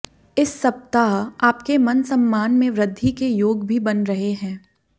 इस सप्ताह आपके मान सम्मान में वृद्धि के योग भी बन रहे है